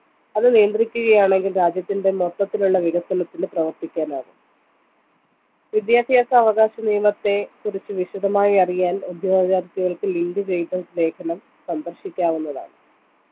അത് നിയന്ത്രിക്കുകയാണെങ്കിൽ രാജ്യത്തിൻ്റെ മൊത്തത്തിലുള്ള വികസനത്തിനു പ്രവർത്തിക്കാനാവും വിദ്യാഭ്യാസ അവകാശനിയമത്തെ കുറിച്ച് വിശദമായി അറിയാൻ ഉദ്യോഗാർത്ഥികൾക്ക് link വഴികൾ ലേഖനം സന്ദർശിക്കാവുന്നതാണ്